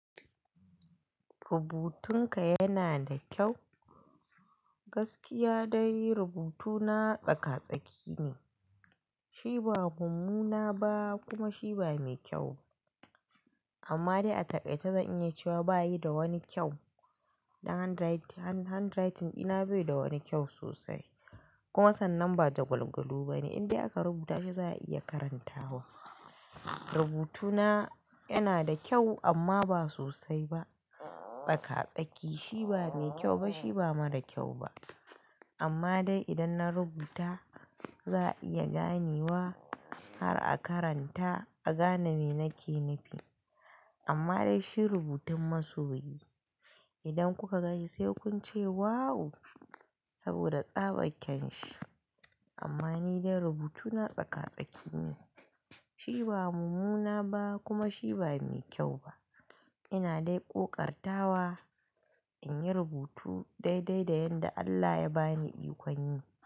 Rubutunka yana da kyau? Gaskiya dai rubutuna tsaka-tsaki ne. Shi ba mummuna ba kuma shi ba mai kyau ba. Amma dai a takaice zan iya cewa ba yi da wani kyau. Dan handwriting, handwriting dina bai da wani kyau sosai kuma sannan ba jagwalgwalo ba ne. In dai aka rubuta shi za a iya karantawa. Rubutuna yana da kyau amma ba sosai ba. Tsaka-tsaki. Shi ba mai kyau ba shi ba mara kyau ba. Amma dai idan na rubuta za a iya ganewa har a karanta a gane me nake nufi. Amma dai shi rubutun masoyi. Idan kuka gani sai kunce "wow" saboda tsaba kyan shi. Amma ni dai rubutuna tsaka-tsaki ne. Shi ba mummuna ba kuma shi ba mai kyau ba. Ina dai ƙoƙartawa in yi rubutu daidai da yanda Allah ya ba ni ikon yi.